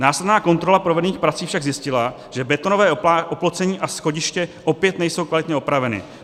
Následná kontrola provedených prací však zjistila, že betonové oplocení a schodišť opět nejsou kvalitně opraveny.